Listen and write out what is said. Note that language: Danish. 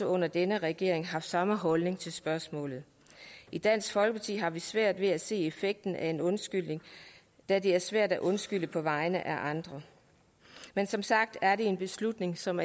under denne regering samme holdning til spørgsmålet i dansk folkeparti har vi svært ved at se effekten af en undskyldning da det er svært at undskylde på vegne af andre men som sagt er det en beslutning som